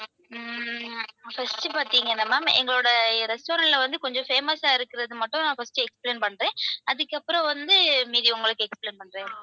உம் first பாத்தீங்கன்னா ma'am எங்களோட restaurant ல வந்து கொஞ்சம் famous ஆ இருக்குறது மட்டும் நான் first explain பண்றேன், அதுக்கப்புறம் வந்து மீதி உங்களுக்கு explain பண்றேன்